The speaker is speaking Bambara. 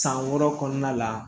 San wɔɔrɔ kɔnɔna la